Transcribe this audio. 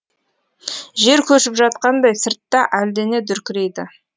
жер көшіп жатқандай сыртта әлдене дүркірейді